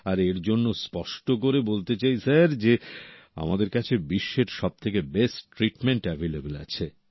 আর এর জন্য স্পষ্ট করে বলতে চাই স্যার যে আমাদের কাছে বিশ্বের সবথেকে বেস্ট ট্রিটমেন্ট অ্যাভেইলেবল আছে